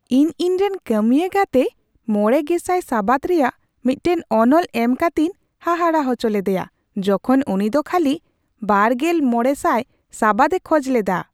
ᱤᱧ ᱤᱧᱨᱮᱱ ᱠᱟᱹᱢᱤᱭᱟ ᱜᱟᱛᱮ ᱕᱐᱐᱐ ᱥᱟᱵᱟᱫ ᱨᱮᱭᱟᱜ ᱢᱤᱫᱴᱟᱝ ᱚᱱᱚᱞ ᱮᱢ ᱠᱟᱛᱮᱧ ᱦᱟᱦᱟᱲᱟᱜ ᱦᱚᱪᱚ ᱞᱮᱫᱮᱭᱟ ᱡᱚᱠᱷᱚᱱ ᱩᱱᱤᱫᱚ ᱠᱷᱟᱹᱞᱤ ᱒᱕᱐᱐ ᱥᱟᱵᱟᱫ ᱮ ᱠᱷᱚᱡ ᱞᱮᱫᱟ ᱾